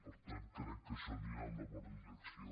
per tant crec que això anirà en la bona direcció